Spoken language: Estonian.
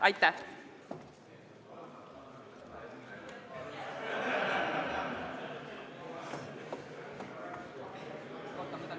Aitäh!